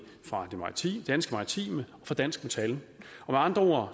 fra danske maritime og fra dansk metal med andre